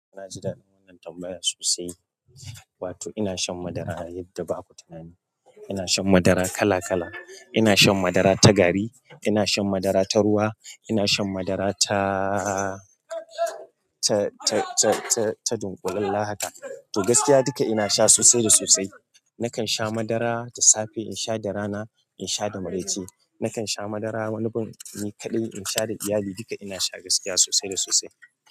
Na ji daɗin wannan tambayar sosai. Wato ina shan madara yadda ba ku tunani. Ina shan madara kala kala. Ina shan madara ta gari, ina shan madara ta ruwa, ina shan madara ta, ta, ta, ta, ta, ta dunƙule. Lahata. To gaskiya duka ina sha sosai da sosai. Nakan sha madara da safe, in sha da rana, in sha da maraice. Nakan sha madara wani bin ni kaɗai, in sha da iyali. Duka ina sha gaskiya sosai da sosai.